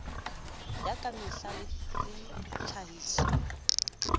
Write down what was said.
ya ka mehla le tlhahiso